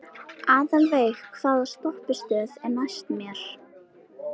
Aðalveig, hvaða stoppistöð er næst mér?